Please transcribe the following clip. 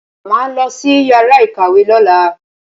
Màá lọ sí yàrá ìkàwé lọ́la.